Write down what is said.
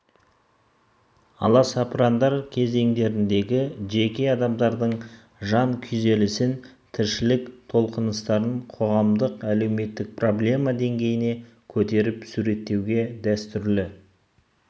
аласапырандар кезеңдеріндегі жеке адамдардың жан күйзелісін тіршілік толқыныстарын қоғамдық әлеуметтік проблема деңгейіне көтеріп суреттеуде дәстүрлі